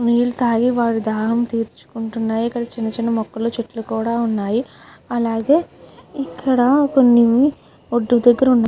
నీళ్ళు తాగి వాళ్ళు దాహంతీర్చుకున్నారు. ఇక్కడ చిన్న చిన్న మొక్కలు చెట్టులు కూడా వున్నాయ్. అలాగే ఇక్కడ కొన్ని ఒడ్డు దగర వున్నాయ్.